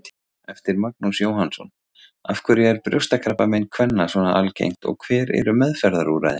Eftir Magnús Jóhannsson Af hverju er brjóstakrabbamein kvenna svona algengt og hver eru meðferðarúrræðin?